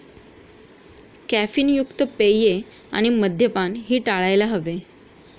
Caffeine युक्त पेये आणि मद्यपान ही टाळायला हवे.